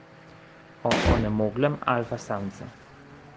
O onemoglem alfa samcu.